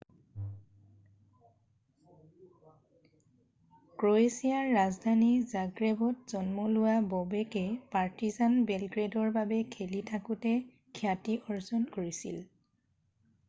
ক্ৰ'ৱেছিয়াৰ ৰাজধানী জাগ্ৰেবত জন্ম লোৱা ববেকে পাৰ্টিজান বেলগ্ৰেডৰ বাবে খেলি থাকোতে খ্যাতি অৰ্জন কৰিছিল